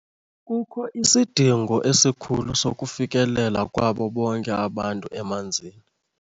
Kukho isidingo esikhulu sokufikelela kwabo bonke abantu emanzini.